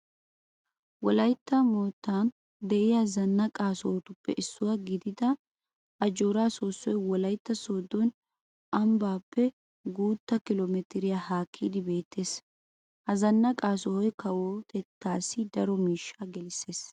Wolaytta moottan de'iya zannaqa sohotuppe issuwa gidida ajjooraa soossoy Wolaytta sooddo ambbaappe guutta kilo mitireta haakkidi beettees. Ha zannaqa sohoy kawotettaassi daro miishshaa gelissees.